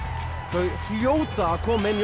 þau hljóta að koma inn